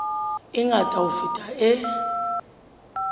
e ngata ho feta e